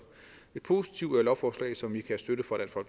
et positivt lovforslag som vi kan støtte fra